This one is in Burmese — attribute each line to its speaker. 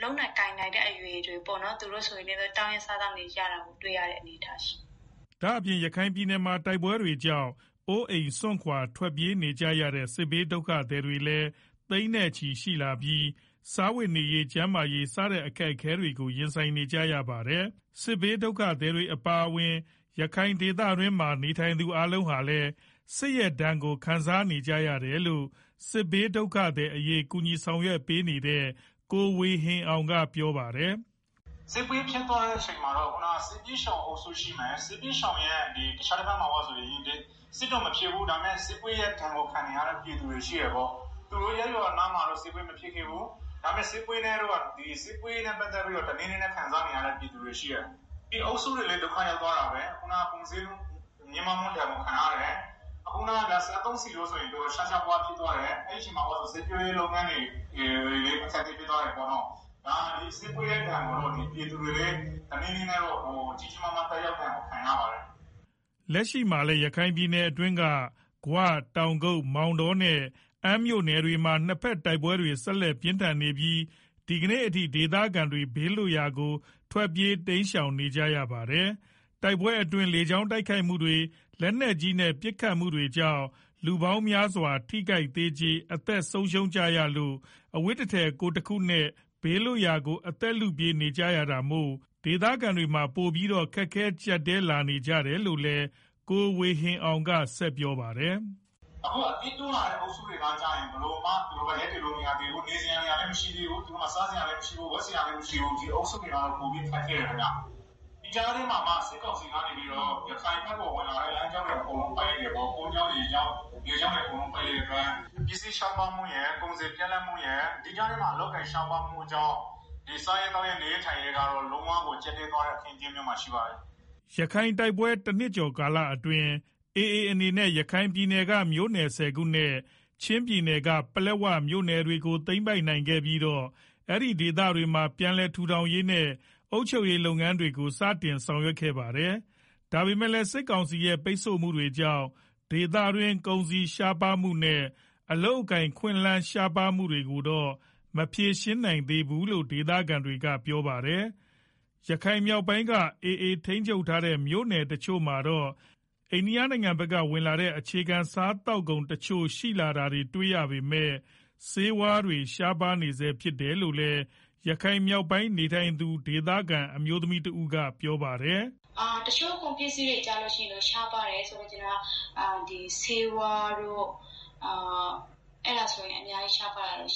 Speaker 1: လုပ်နိုင်ကိုင်နိုင်တဲ့ အရွယ်တွေပေါ့နော် သူတို့တွေလည်း တောင်းရမ်း စားသောက်နေတာ တွေ့ရတယ်။
Speaker 2: ” ဒါ့အပြင် ရခိုင်ပြည်နယ်မှာ တိုက်ပွဲတွေကြောင့် အိုးအိမ်စွန့်ခွာထွက်ပြေးနေရတဲ့ စစ်ဘေးဒုက္ခသည်တွေလည်း သိန်းနဲ့ချီရှိလာနေပြီး စားဝတ်နေရေး ကျန်းမာရေး စတဲ့အခက်အခဲတွေကို ရင်ဆိုင်နေကြရတာပါ။ စစ်ဘေးဒုက္ခသည်တွေအပါအဝင် ရခိုင်ဒေသတွင်းမှာနေထိုင်သူအားလုံးဟာလည်း စစ်ရဲ့ဒဏ်ကို ခံစားနေကြရတယ်လို့ စစ်ဘေးဒုက္ခသည်အရေး ကူညီဆောင်ရွက်ပေးနေတဲ့ ကိုဝေဟင်အောင်ကပြောပါတယ်။
Speaker 1: “ စစ်ပွဲဖြစ်သွားတဲ့ ထဲမှာတော့ စစ်ဘေးရှောင်အုပ်စုရှိမယ်၊ တခြားတဘက်မှာက စစ်တော့ မဖြစ်ဘူး ဒါပေမယ့် စစ်ပွဲရဲ့ ဒဏ်ကို ခံနေကြရတဲ့ ပြည်သူတွေရှိတယ်၊ သူတို့ရပ်ရွာနားမှာတော့ စစ်ပွဲမဖြစ်ခဲ့ဘူး ဒါပေမယ့် စစ်ပွဲရဲ့ ဒဏ်ကို တနည်းနည်းနဲ့ ခံစားနေရတဲ့ ပြည်သူတွေ ဒီအုပ်စုတွေလည်းဒုက္ခ ရောက်သွားတာပဲ ခုနားက ကုန်ဈေးနှုန်းမြင့်တက်ဒဏ်ကို ခံရတယ် စစ်သုံးဆီးတွေဆိုရင် တော်တော် ရှားရှားပါးပါးဖြစ်သွားတယ် အဲဒီမှာ စိုက်ပျိုးရေးလုပ်ငန်းတွေ အခက်အခဲဖြစ်သွားတယ်၊ ဆိုတော့ ဒီပြည်သူတွေလည်း စစ်ပွဲရဲ့ဒဏ်ကို တနည်းနည်းနဲ့ခံရပါတယ်။
Speaker 2: ” လက်ရှိမှာလည်း ရခိုင်ပြည်နယ်က ဂွ၊ တောင်ကုတ်၊ မောင်တောနဲ့ အမ်းမြို့နယ်မှာ နှစ်ဘက်တိုက်ပွဲတွေ ဆက်လက်ပြင်းထန်နေပြီး ဒီကနေ့အထိ ဒေသခံတွေ ဘေးလွတ်ရာကို ထွက်ပြေးတိမ်းရှောင်နေရတာလည်းဖြစ်ပါတယ်။ တိုက်ပွဲတွေအတွင်း လေကြောင်းတိုက်ခိုက်လေကြောင်းတိုက်ခိုက်မှုတွေ လက်နက်ကြီးနဲ့ပစ်ခတ်မှုဒဏ်တွေကြောင့် လူပေါင်းများစွာ ထိခိုက်သေကြေ အသက်ဆုံးရှုံးနေကြရလို့ အဝတ်တထည် ကိုယ်တခုနဲ့ ဘေးလွတ်ရာကို အသက်လုပြေးနေရတာမို့ ဒေသခံတွေမှာ ပိုပြီးတော့ ခက်ခဲကြပ်တည်းလာနေကြရတယ်လို့လည်း ကိုဝေဟင်အောင်က ဆက်ပြောပါတယ်။ “
Speaker 1: အခုအသစ်တိုးလာတဲ့ စစ်ဘေးရှောင်တွေကတော့ ဘယ်လိုမှ ရပ်တည်လို့မရသေးဘူး နေစရာနေရာ လည်းမရှိသေးဘူး စားစရာလည်းမရှိဘူး ဝတ်စရာလည်းမရှိဘူး ဒီအုပ်စုတွေကတော့ ပိုပြီးတော့ ခက်ခဲ တယ်ခင်မျာ။ ဒီကြားထဲမှာ စစ်ကောင်စီကနေပြီးတော့ ရခိုင်ဘက်ဝင်လာတဲ့ လမ်းကြောင်းတွေ အကုန်လုံးကို ပိတ်လိုက်တယ်ပေါ့၊ ကုန်ကြောင်း ရေကြောင်း အကုန်းလုံးကို ပိတ်လိုက်တဲ့အတွက် ပစ္စည်းရှား ပါးမှုရယ် ကုန်စည်းပြတ်လပ်မှုရယ် ဒီကြားထဲမှာ အလုပ်အကိုင်ရှားပါးမှုတွေကြောင့် ဒီစား ရေးသောက်ရေး နေရေးထိုင်းရေး အခင်းအကြင်းကတော့ လုံးဝကို ကြပ်တည်းသွားတဲ့အနေ အထား မှာရှိပါတယ်
Speaker 2: ။” ရခိုင်တိုက်ပွဲ တနှစ်ကျော်ကာလအတွင်းက AAအနေနဲ့ ရခိုင်ပြည်နယ်က မြို့နယ် ၁ဝခုနဲ့ ချင်းပြည်နယ်က ပလက်ဝမြို့နယ်တွေကို သိမ်းပိုက်ပြီးတော့ အဲဒီဒေသတွေမှာ ပြန်လည်ထူထောင်ရေး နဲ့ အုပ်ချုပ်ရေးလုပ်ငန်းတွေကို စတင်လုပ်ဆောင်နေတာလည်းဖြစ်ပါတယ်။ ဒါပေမယ့်လည်း စစ်ကောင်စီရဲ့ ပိတ်ဆို့မှုတွေကြောင့် ဒေသတွင်း ကုန်စည်ရှားပါးမှုတွေနဲ့ အလုပ်လုပ်ကိုင်ခွင့်ရှားပါးမှုတွေကိုတော့ မဖြေရှင်းပေးနိုင်ဘူးလို့ ဒေသခံတွေကပြောပါတယ်။ ရခိုင်မြောက်ပိုင်းက AA ထိန်းချုပ်ထားတဲ့ မြို့နယ်တချို့မှာတော့ အိန္ဒိယနိုင်ငံဘက်က ဝင်လာတဲ့ အခြေခံစားသောက်ကုန်တချို့ရှိလာတာတွေ့ရပေမယ့် ဆေးဝါးတွေ ရှားပါးနေဆဲဖြစ်တယ်လို့လည်း ရခိုင်မြောက်ပိုင်းနေထိုင်သူ ဒေသခံအမျိုးသမီးတဦးကပြောပါတယ်
Speaker 1: ။ “ တချို့ကုန်ပစ္စည်းတွေဆိုရင် ရှားပါးတယ် ဆိုလိုချင်တာက ဆေးဝါးတွေကတော့ အများကြီးရှား ပါးတယ်